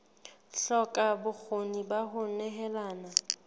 hloka bokgoni ba ho nehelana